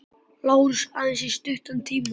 LÁRUS: Aðeins í stuttan tíma.